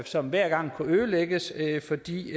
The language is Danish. som hver gang kunne ødelægges fordi